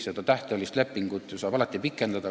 Seda tähtajalist lepingut saab ju alati pikendada.